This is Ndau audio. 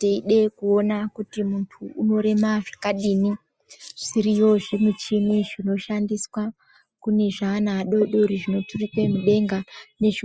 Teide kuona kuti munhu unorema zvakadini zviriyo zvimuchini zvinoshandiswa kune zvaana afodori zvinoturukwe mudenga